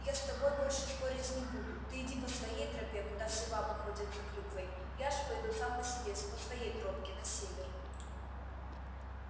я с тобой больше спорить не буду ты иди по своей тропе куда все бабы ходят за клюквой я же пойду сам по себе по своей тропке на север